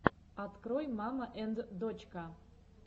открой мама энд дочка